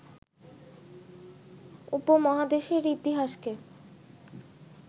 উপমহাদেশের ইতিহাসকে